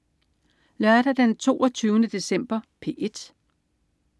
Lørdag den 22. december - P1: